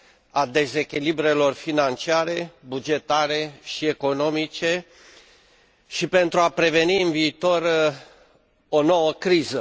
a dezechilibrelor financiare, bugetare și economice și pentru a preveni în viitor o nouă criză.